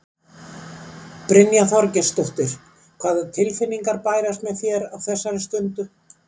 Brynja Þorgeirsdóttir: Hvaða tilfinningar bærast með þér á þessari stundu?